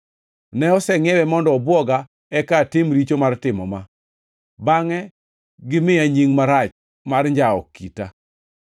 Ne osengʼiewe mondo obwoga eka atim richo mar timo ma, bangʼe gimiya nying marach mar njawo kita.